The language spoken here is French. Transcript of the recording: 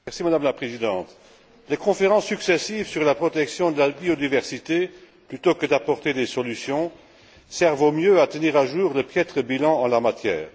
Madame la Présidente, les conférences successives sur la protection de la biodiversité, plutôt que d'apporter des solutions, servent au mieux à tenir à jour le piètre bilan en la matière.